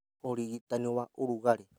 ũrigitani wa ũrugarĩ